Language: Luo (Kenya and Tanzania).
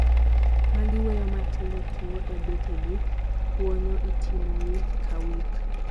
magi weyo matindo tui e bethe gi , kwonyo itimo wik ka wik